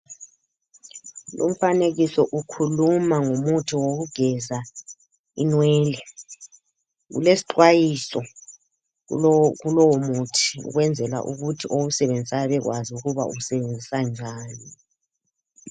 Umfanekiso ukhuluma ngomuthi wokugeza inwele, kulesxwayiso kulo kulowo muthi ukwenzela ukuthi owusebenzisayo abekwazi ukuba usebenzisa njani.